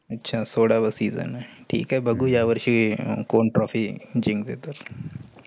अच्छा सोळावा season आहे. ठीक आहे. बगुया या वर्षी कोण trophy जिकतेय ते.